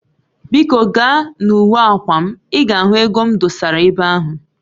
Biko gaa na uwe akwa m, i ga ego m dosara ebe ahu